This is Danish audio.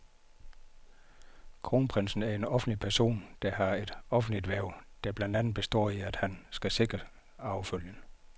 Kronprinsen er en offentlig person, der har et offentligt hverv, der blandt andet består i, at han skal sikre arvefølgen.